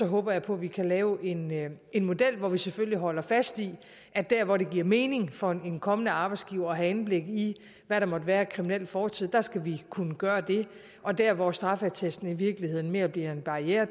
håber jeg på at vi kan lave en lave en model hvor vi selvfølgelig holder fast i at der hvor det giver mening for en kommende arbejdsgiver at have indblik i hvad der måtte være af kriminel fortid skal vi kunne gøre det og der hvor straffeattesten i virkeligheden mere bliver en barriere